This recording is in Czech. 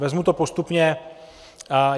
Vezmu to postupně.